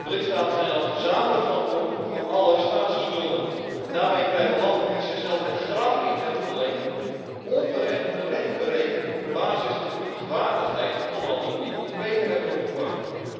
De lidstaten zijn dan gezamenlijk verantwoordelijk voor alle staatsschulden en daarmee krijgen landen die zichzelf het graf in hebben geleend, onterecht een rente berekend op basis van de kredietwaardigheid van landen die iets beter hebben opgepast.